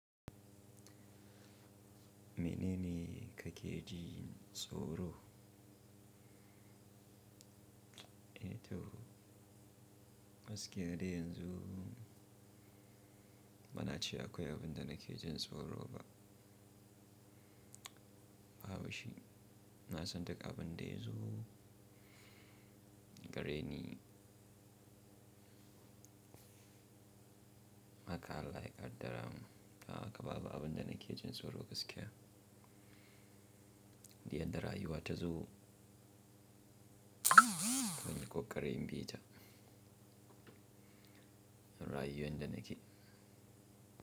Menene kake ji tsoro? Eh to, gaskiya dai yanzu bana ce akwai abin da nake jin tsoro ba. Babu shi. Na san duk abin da yazo gare ni. Haka Allah ya ƙaddara man. Dan haka babu abin da nake jin tsoro gaskiya. Diyadda rayuwa tazo, munyi ƙokari in bi ta. Rayuwar da nake.